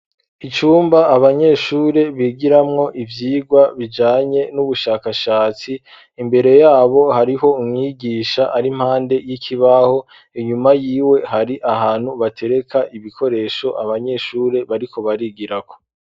icumba abanyeshure bigiramwo ivyigwa bijanye n'ubushakashatsi imbere yabo hariho umwigisha ari mpande y'ikibaho inyuma yiwe hari ahantu batereka ibikoresho abanyeshuri bariko barigirako